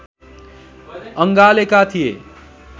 अँगालेका थिए